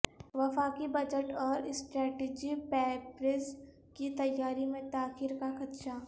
وفاقی بجٹ اوراسٹرٹیجی پیپرز کی تیاری میں تاخیر کا خدشہ